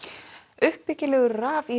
uppbyggilegur